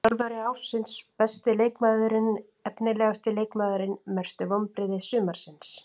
Þjálfari ársins Besti leikmaðurinn Efnilegasti leikmaðurinn Mestu vonbrigði sumarsins?